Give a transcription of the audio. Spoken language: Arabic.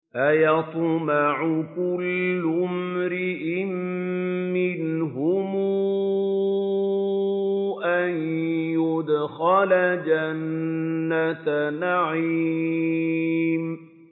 أَيَطْمَعُ كُلُّ امْرِئٍ مِّنْهُمْ أَن يُدْخَلَ جَنَّةَ نَعِيمٍ